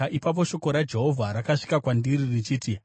Ipapo shoko raJehovha rakasvika kwandiri richiti,